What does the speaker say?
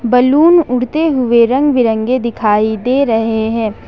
Balloon उड़ते हुए रंग-बिरंगे दिखाई दे रहे हैं।